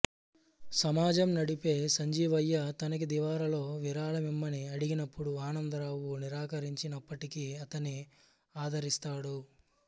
సమాజం నడిపే సంజీవయ్య తనకిదివరలో విరాళమిమ్మని అడిగినప్పుడు ఆనందరావు నిరాకరించినప్పటికీ అతన్ని ఆదరిస్తాడు